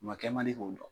U ma kɛ man di k'o dɔn